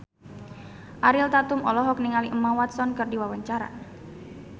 Ariel Tatum olohok ningali Emma Watson keur diwawancara